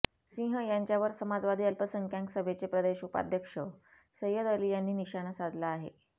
सिंह यांच्यावर समाजवादी अल्पसंख्याक सभेचे प्रदेश उपाध्यक्ष सैय्यद अली यांनी निशाणा साधला आहे